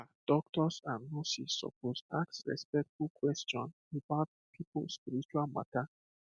um doctors and nurses suppose ask respectful question about people spiritual matter